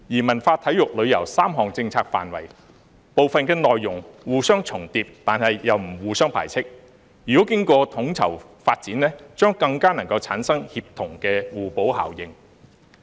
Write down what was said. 文化、體育、旅遊3項政策範圍，部分內容互相重疊但又不互相排斥，如果經過統籌發展，將更能夠產生協同的互補效應。